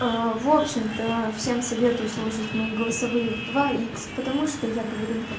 в общем-то всем советую слушать мои голосовые в два икс потому что я говорю